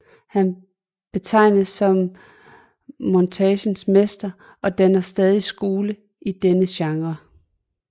Han betegnes som montagens mester og danner stadig skole i denne genre